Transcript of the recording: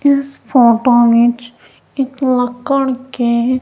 इस फोटो विच एक लकड़ के--